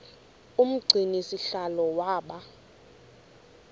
umgcini sihlalo waba